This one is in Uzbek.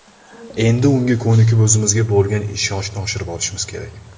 Endi unga ko‘nikib, o‘zimizga bo‘lgan ishonchni oshirib olishimiz kerak.